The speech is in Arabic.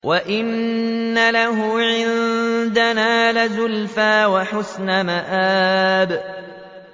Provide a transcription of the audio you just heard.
وَإِنَّ لَهُ عِندَنَا لَزُلْفَىٰ وَحُسْنَ مَآبٍ